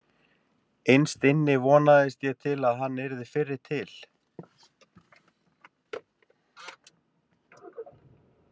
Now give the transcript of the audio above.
Innst inni vonaðist ég til að hann yrði fyrri til.